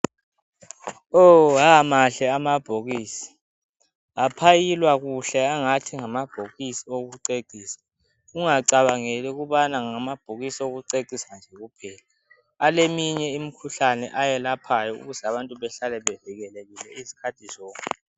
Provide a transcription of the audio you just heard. Oo aamahle amabhokisi, aphayilwa kahle kungathi ngamabhokisi ayokucecisa. Ungacabangeli ukuthi ngabhokisi okucecisa nje kuphela, ale imikhuhlane ayelaphayo, ukuze abantu behlale bavikelekile izikhathi zonke.